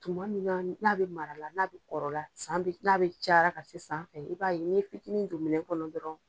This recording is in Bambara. Tuma min na n'a bɛ mara la, n'a bɛ kɔrɔ la, san n'a bɛ cayara ka se sanfɛ ye, i b'a ye ni ye fitinin don minɛ kɔnɔ dɔrɔn.